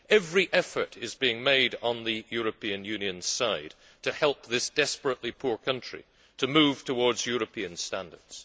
Every effort is being made on the European Union's side to help this desperately poor country move towards European standards.